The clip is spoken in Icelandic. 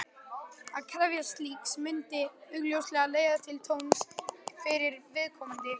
Að krefjast slíks myndi augljóslega leiða til tjóns fyrir viðkomandi.